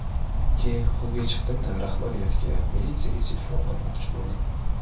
Keyin xollga chiqdimda rahbariyatga, militsiyaga telefon qilmoqchi bo‘ldim.